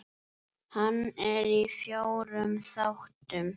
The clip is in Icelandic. Hann er í fjórum þáttum.